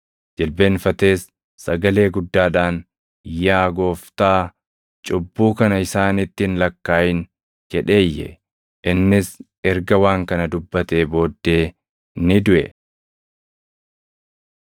Jilbeenfatees sagalee guddaadhaan, “Yaa Gooftaa, cubbuu kana isaanitti hin lakkaaʼin!” jedhee iyye; innis erga waan kana dubbatee booddee ni duʼe.